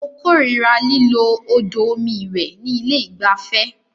Mó kòrira lílo odò omi ìwẹ̀ ní ilé ìgbafẹ́.